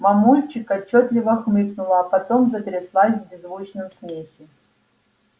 мамульчик отчётливо хмыкнула а потом затряслась в беззвучном смехе